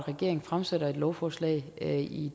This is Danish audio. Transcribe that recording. at regeringen fremsætter et lovforslag i i